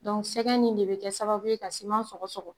sɛgɛ in de bɛ kɛ sababu ye ka siman sɔgɔsɔgɔ